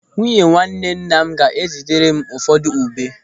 Nwunye nwanne nna m ga-ézì tere m ụfọdụ ube.